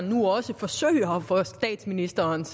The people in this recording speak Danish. nu også forsøger at få statsministerens